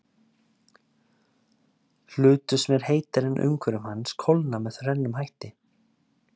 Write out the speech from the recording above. Hlutur sem er heitari en umhverfi hans kólnar með þrennum hætti.